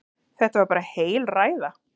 Þetta var bara heil ræða.